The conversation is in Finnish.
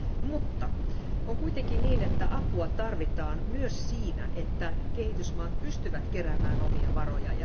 Mutta on kuitenkin niin, että apua tarvitaan myös siinä, että kehitysmaat pystyvät keräämään omia varoja.